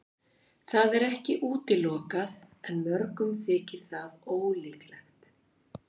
Það er ekki útilokað en mörgum þykir það ólíklegt.